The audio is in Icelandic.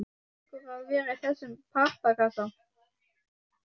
Nú þarftu ekki lengur að vera í þessum pappakassa.